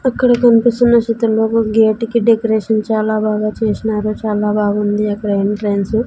అక్కడ కన్పిస్తున్న చిత్రంలో ఒక గేటు కి డెకరేషన్ చాలా బాగా చేసినారు చాలా బాగుంది అక్కడ ఇఫ్లుయన్స్ --